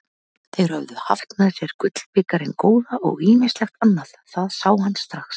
Þeir höfðu haft með sér gullbikarinn góða og ýmislegt annað, það sá hann strax.